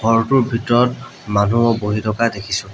ঘৰটোৰ ভিতৰত মানুহো বহি থকা দেখিছোঁ।